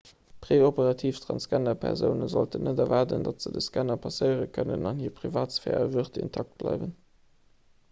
preoperativ transgenderpersoune sollten net erwaarden datt se de scanner passéiere kënnen an hir privatsphär a würd intakt bleiwen